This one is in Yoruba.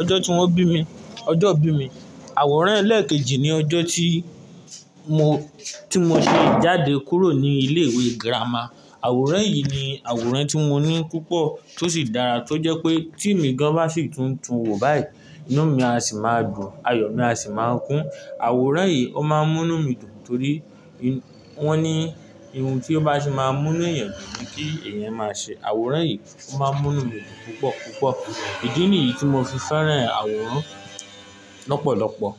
ọjọ́ tí wọ́n bí mi, ọjọ́ ìbí mi. Àwòrán ẹ̀lẹ́ẹ̀kejì ni ọjọ́ tí mo, tí mo ṣe jáde kúrò ní ilé ìwé girama. Àwòrán yìí ni àwòrán tí mo ní púpọ̀ tó sì dára tó jẹ́ pé tí emi gan bá sì tún tu wò báyìí, inú mi á sì máa dùn, ayọ̀ mi á sì máa kún. Àwòrán yìí ó máa ń mú inú mi dùn torí wọ́n ní ohun tí ó bá ti máa ń mú inú èèyàn dùn ni kí èèyàn máa ṣe. Àwòrán yìí o máa ń mú inú mi dùn púpọ̀ púpọ̀. Ìdí nìyí tí mo fi fẹ́ràn àwòrán lọ́pọ̀lọpọ̀.